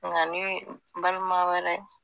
Nga ni balima wɛrɛ.